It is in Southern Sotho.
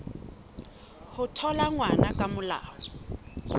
ho thola ngwana ka molao